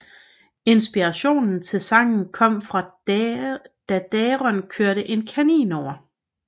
Inspirationen til sangen kom da Daron kørte en kanin over